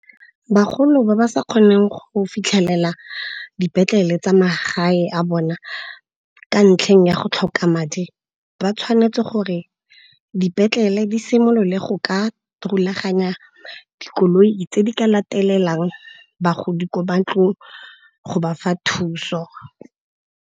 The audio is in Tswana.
Bagolo ba ba sa kgoneng go fitlhelela dipetlele tsa ma gae a bona ka ntlheng ya go tlhoka madi, ba tshwanetse gore dipetlele di simolole go ka rulaganya dikoloi tse di ka latelelang bagodi ko ba ntlong go ba fa thuso.